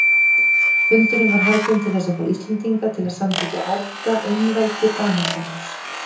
Fundurinn var haldinn til þess að fá Íslendinga til að samþykkja erfðaeinveldi Danakonungs.